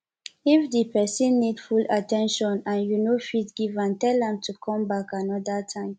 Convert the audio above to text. if di person need full at ten tion and you no fit give am tell am to come back anoda time